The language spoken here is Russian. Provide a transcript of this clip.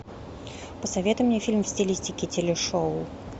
посоветуй мне фильм в стилистике телешоу